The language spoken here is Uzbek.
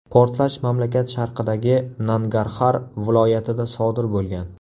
Portlash mamlakat sharqidagi Nangarxar viloyatida sodir bo‘lgan.